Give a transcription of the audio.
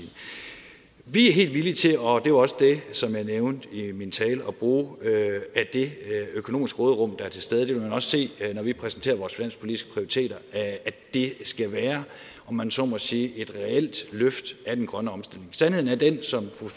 vi er helt villige til og det var også det som jeg nævnte i min tale at bruge af det økonomiske råderum der er til stede det vil man også se når vi præsenterer vores finanspolitiske prioriteter at det skal være om man så må sige et reelt løft af den grønne omstilling sandheden er den som